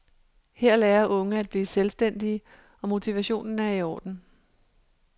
Her lærer unge at blive selvstændige, og motivationen er i orden.